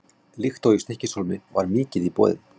Líkt og í Stykkishólmi var mikið í boði.